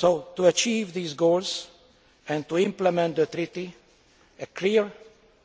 To achieve these goals and to implement the Treaty, clear,